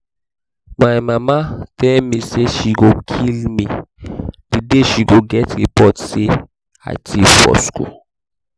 my mama tell me say she go kill me the day she go get report say i thief for school